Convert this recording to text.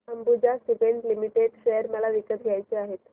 Ambuja cement limited share मला विकत घ्यायचे आहेत